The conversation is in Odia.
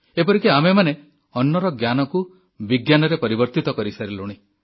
ଏପରିକି ଆମେମାନେ ଅନ୍ନର ଜ୍ଞାନକୁ ବିଜ୍ଞାନରେ ପରିବର୍ତ୍ତିତ କରିସାରିଲୁଣି